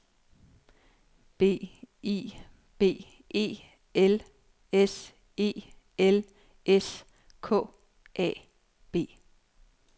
B I B E L S E L S K A B